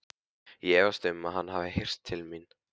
Ég efast um, að hann hafi heyrt til mín.